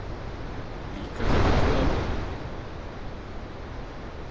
Líka klukkan tvö að nóttu?